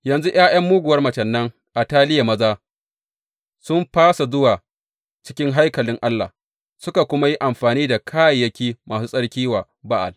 Yanzu ’ya’ya muguwar macen nan Ataliya maza sun fasa zuwa cikin haikalin Allah, suka kuma yi amfani da kayayyaki masu tsarki ma wa Ba’al.